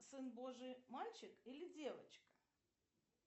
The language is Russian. сын божий мальчик или девочка